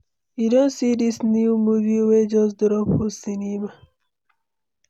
You don see this new movie wey just drop for cinema?